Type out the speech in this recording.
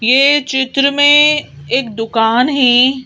ये चित्र में एक दुकान है।